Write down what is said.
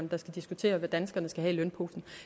der skal diskutere hvad danskerne skal have i lønposen